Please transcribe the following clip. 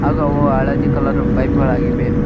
ಹಾಗು ಅವು ಹಳದಿ ಕಲರ್ ಪೈಪ್ ಗಳಾಗಿವೆ.